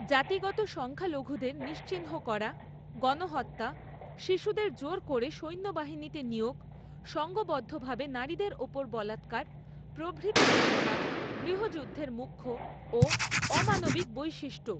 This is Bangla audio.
জাতিগত সংখ্যালঘুদের নিশ্চিহ্ন করা গণহত্যা শিশুদের জোর করে সৈন্যবাহিনীতে নিয়োগ সংঘবদ্ধভাবে নারীদের ওপর বলাৎকার প্রভৃতি ঘটনা গৃহযুদ্ধের মুখ্য ও অমানবিক বৈশিষ্ট্য।